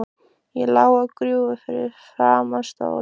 Ég lá á grúfu fyrir framan stólinn.